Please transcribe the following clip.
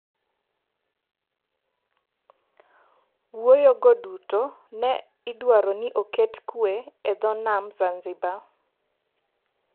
Wuoyogo duto ne idwaro ni oketo kue e dho nam Zanzibar.